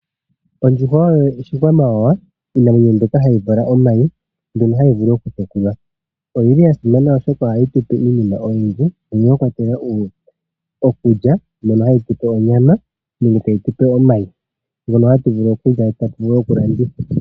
Ondjuhwa oyo oshikwamawawa, iinamwenyo mbyoka hayi vala omayi mbyono hayi vulu okutekulwa. Oyili ya simana oshoka ohayi tu pe iinima oyindji mwa kwatelwa okulya, mono hayi tu pe onyama nenge tayi tu pe omayi. Mbyono hatu vulu okulya e ta tu vulu okulanditha.